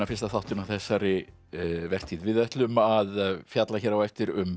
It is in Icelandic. fyrsta þáttinn á þessari vertíð við ætlum að fjalla hér á eftir um